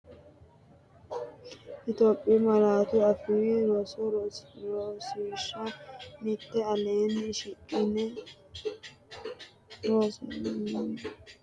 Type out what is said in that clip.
Itophiyu Malaatu Afii Roso Rosiishsha Mite Aleenni shiqi’ne rosira uyini’ne lawishshi garinni affinoonnita qubbichu fidale kamahohoroonsi’ratenni malaatta rosiisaanchi’nera Itophiyu laatu afiinni leellishshe, konne malaateeti?